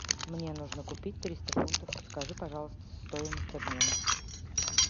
мне нужно купить триста фунтов подскажи пожалуйста стоимость обмена